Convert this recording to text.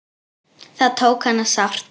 Það tók hana sárt.